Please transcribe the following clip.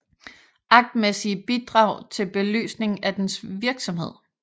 Aktmæssige bidrag til belysning af dens virksomhed